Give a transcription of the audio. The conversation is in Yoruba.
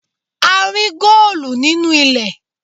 A rí góòlù nínú ilẹ̀.